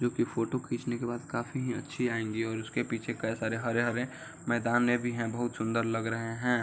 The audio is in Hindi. जोकि फोटो खींचने के बाद काफी अच्छी आएँगी और उसके पीछे कइ सारे हरे-हरे मैंदाने भी हैं बहुत सुन्दर लग रहे हैं।